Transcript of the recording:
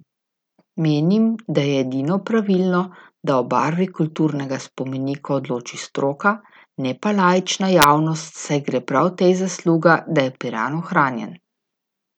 Menim, da je edino pravilno, da o barvi kulturnega spomenika odloči stroka, ne pa laična javnost, saj gre prav tej zasluga, da je Piran ohranjen.